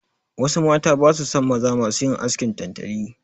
Wasu mata basu son maza masu yin askin tantali.